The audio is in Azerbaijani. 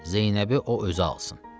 Zeynəbi o özü alsın.